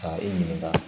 Ka i ɲininka